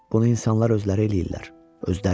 Bunu insanlar özləri eləyirlər.